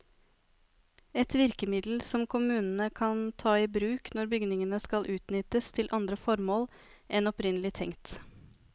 Et virkemiddel som kommunene kan ta i bruk når bygninger skal utnyttes til andre formål enn opprinnelig tenkt.